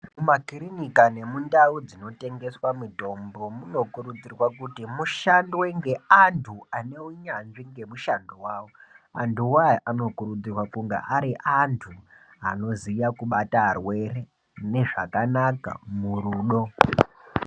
Mu makirinika ne mundau dzino tengeswa mitombo muno kurudzirwa kuti mushandwe nge antu ane unyanzvi nge mushando wawo antu wo aya anokurudzirwa kunga ari antu anoziya kubata arwere mune zvakanaka murudo.